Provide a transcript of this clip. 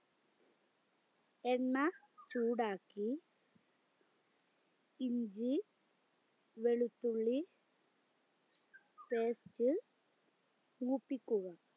എണ്ണ ചൂടാക്കി ഇഞ്ചി വെളുത്തുള്ളി paste മൂപ്പിക്കുക